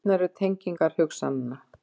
Skrýtnar eru tengingar hugsananna.